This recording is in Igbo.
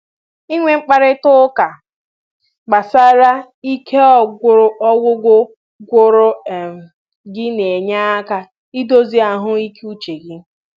Inwe mkparịta ụka gbasara ike ọgwụgwụ gwụrụ um gị na-enye aka idozi ahụ ike uche gị